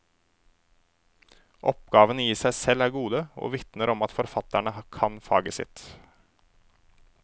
Oppgavene i seg selv er gode, og vitner om at forfatterne kan faget sitt.